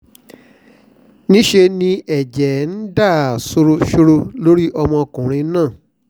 níṣẹ́ ni ẹ̀jẹ̀ ń dà sọ̀rọ̀sọ̀rọ̀ lórí ọmọkùnrin náà